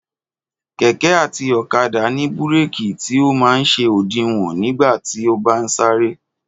Kẹ̀kẹ́ àti ọ̀kadà ní búrèkì tí ọ man ṣe òdiwọ̀n nígbà tí o bá ń sàrẹ.